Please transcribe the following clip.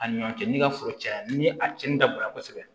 A ni ɲɔ cɛ n'i ka foro cayara ni a cɛnni dabɔra kɔsɛbɛ